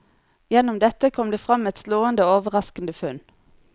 Gjennom dette kom det fram et slående og overraskende funn.